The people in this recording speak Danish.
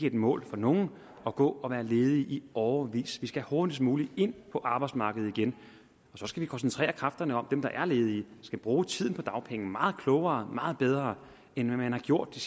et mål for nogen at gå og være ledig i årevis man skal hurtigst muligt ind på arbejdsmarkedet igen og så skal vi koncentrere kræfterne om dem der er ledige vi skal bruge tiden på dagpenge meget klogere og meget bedre end man har gjort i